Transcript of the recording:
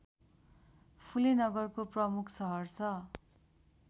फुले नगरको प्रमुख सहर छ